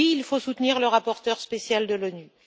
Oui, il faut soutenir le rapporteur spécial de l'ONU.